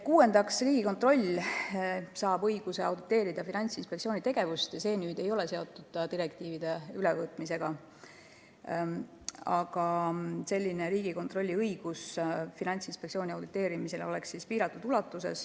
Kuuendaks, Riigikontroll saab õiguse auditeerida Finantsinspektsiooni tegevust – see muudatus ei ole seotud direktiivide ülevõtmisega –, ent õigus Finantsinspektsiooni auditeerida oleks piiratud.